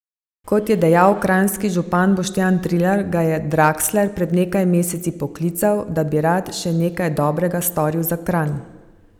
Kot je dejal kranjski župan Boštjan Trilar, ga je Draksler pred nekaj meseci poklical, da bi rad še nekaj dobrega storil za Kranj.